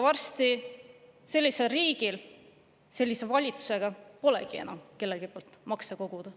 Varsti sellisel riigil sellise valitsusega polegi enam kelleltki makse koguda.